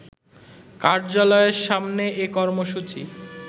কার্যালয়ের সামনে এ কর্মসূচি